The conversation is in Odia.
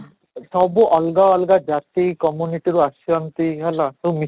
ସବୁ ଅଲଗା ଅଲଗା ଜାତି community ରୁ ଆସିଛନ୍ତି ହେଲା ସବୁ ମିଶି